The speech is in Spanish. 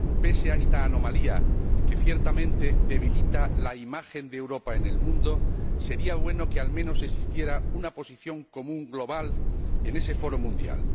Pese a esta anomalía, que ciertamente debilita la imagen de Europa en el mundo, sería bueno que, al menos, existiera una posición común global en ese foro mundial.